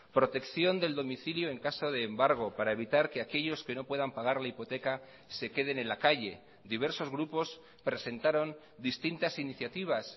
protección del domicilio en caso de embargo para evitar que aquellos que no puedan pagar la hipoteca se queden en la calle diversos grupos presentaron distintas iniciativas